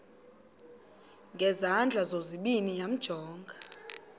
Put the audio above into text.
ngezandla zozibini yamjonga